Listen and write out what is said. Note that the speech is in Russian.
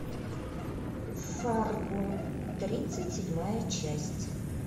фарго тридцать седьмая часть